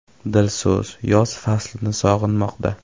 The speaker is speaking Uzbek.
Dilso‘z yoz faslini sog‘inmoqda.